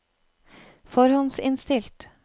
forhåndsinnstilt